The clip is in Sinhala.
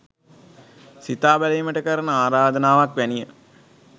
සිතා බැලීමට කරන ආරාධනාවක් වැනිය